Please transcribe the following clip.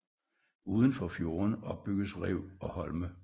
Uden for fjorden opbygges rev og holme